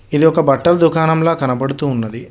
ఇది ఒక బట్టల దుకాణంల కనబడుతు ఉన్నది.